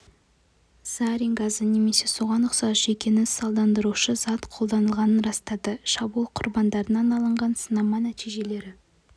зарин газы немесе соған ұқсас жүйкені салдандырушы зат қолданылғанын растады шабуыл құрбандарынан алынған сынама нәтижелері